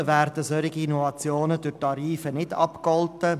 Leider werden solche Innovationen durch die Tarife nicht abgegolten.